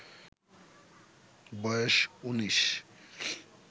বয়েস ১৯